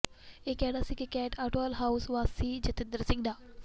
ਇਹ ਕਹਿਣਾ ਸੀ ਕੈਂਟ ਅਟਵਾਲ ਹਾਊਸ ਵਾਸੀ ਜਤਿੰਦਰ ਸਿੰਘ ਦਾ